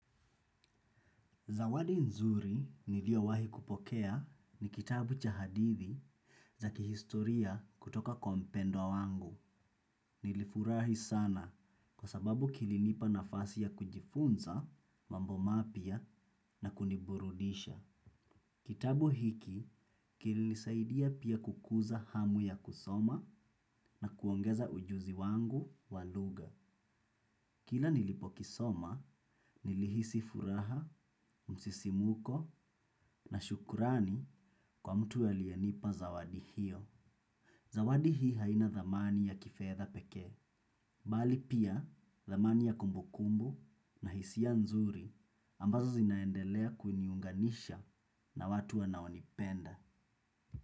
Zawadi nzuri niliowahi kupokea ni kitabu cha hadithi za kihistoria kutoka kwa mpendwa wangu. Nilifurahi sana kwa sababu kilinipa nafasi ya kujifunza, mambo mapia na kuniburudisha. Kitabu hiki kilinisaidia pia kukuza hamu ya kusoma na kuongeza ujuzi wangu waluga. Kila nilipo kisoma, nilihisi furaha, msisimuko na shukurani kwa mtu alyenipa zawadi hiyo. Zawadi hii haina dhamani ya kifedha pekee, bali pia dhamani ya kumbukumbu na hisia nzuri ambazo zinaendelea kuniunganisha na watu wanaonipenda.